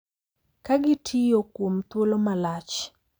Kagitiyo kuom thuolo malach.